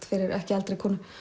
fyrir ekki eldri konu